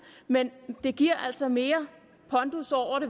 men det giver altså mere pondus